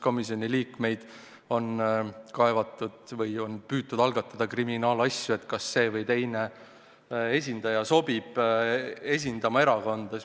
Komisjoni liikmete peale on kaevatud, on püütud algatada kriminaalasju, kas see või teine inimene sobib esindama erakonda.